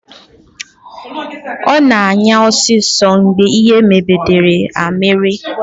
Ọ nọ na-anya ọsọ ọsọ mgbe ihe mberede a mere